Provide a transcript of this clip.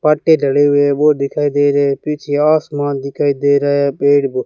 पट्टे डले हुए वो दिखाई दे रहे पीछे आसमान दिखाई दे रहा पेड़ ब--